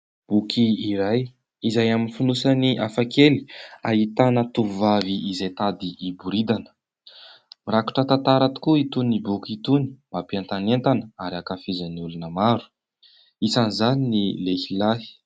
Boky iray izay amin'ny finosany afakely ,ahitana tovovavy izay tady hiboridana, rakotra tantara tokoa itôny boky itôny mampientanentana ary hankafizan'ny olona maro, anisan'izany ny lehilahy.